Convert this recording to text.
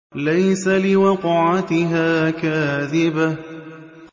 لَيْسَ لِوَقْعَتِهَا كَاذِبَةٌ